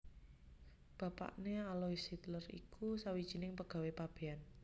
Bapakné Alois Hitler iku sawijining pegawé pabéyan